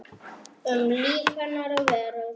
Um líf hennar og veröld.